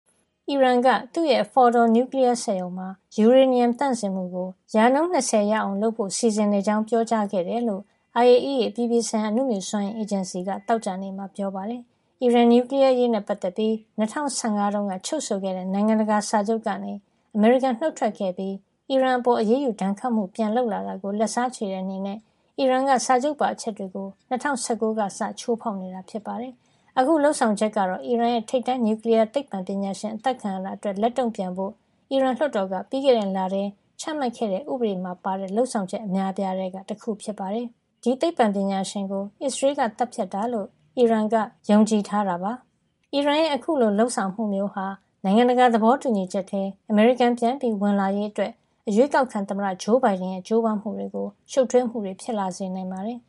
အီရန်က သူ့ရဲ့ Fordow နျူကလီယားစက်ရုံမှာ ယူရေနီယံ သန့်စင်မှုကို ၂၀ ရာခိုင်နှုန်း ရအောင် လုပ်ဖို့ စီစဉ်နေကြောင်း ပြောကြားခဲ့တယ်လို့ IAEA အပြည်ပြည်ဆိုင်ရာ အနုမြူစွမ်းအင် အေဂျင်စီက သောကြာနေ့မှာ ပြောပါတယ်။ အီရန်နျူကလီယား အရေးနဲ့ပတ်သက်ပြီး ၂၀၁၅ တုန်းက ချုပ်ဆိုခဲ့တဲ့ နိုင်ငံတကာစာချုပ်ကနေ အမေရိကန်နုတ်ထွက်ခဲ့ပြီးး အီရန်အပေါ် အရေးယူ ဒဏ်ခတ်မှုတွေ ပြန်လုပ်လာတာကို လက်စားချေတဲ့ အနေနဲ့ အီရန်က စာချုပ်ပါ အချက်တွေကို ၂၀၁၉ ခုနှစ်ကစပြီး ချိုးဖောက်နေတာ ဖြစ်ပါတယ်။ အခု လုပ်ဆောင်ချက်ကတော့ အီရန်ရဲ့ ထိပ်တန်း နျူကလီးယာသိပ္ပံပညာရှင် အသတ်ခံရတာအတွက် လက်တုံ့ပြန်ဖို့ အီရန်လွှတ်တော်က ပြီးခဲ့တဲ့ လထဲ ချမှတ်ခဲ့တဲ့ ဥပဒေမှာ ပါတဲ့ လုပ်ဆောင်ချက် အများအပြားထဲက တခုဖြစ်ပါတယ်။ အီရန်ရဲ့ အခုလို လုပ်ဆောင်မှုမျိုးဟာ နိုင်ငံတကာ သဘောတူညီချက်ထဲ အမေရိကန် ပြန်ဝင်လာရေး အရွေးကောက်ခံသမ္မတ ဂျိုးဘိုင်ဒန် ရဲ့ ကြိုးပမ်းမှုအတွက် ရှုပ်ထွေးမှုတွေ ဖြစ်လာစေနိုင်ပါတယ်။